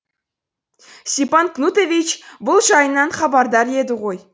степан кнутович бұл жайынан хабардар еді ғой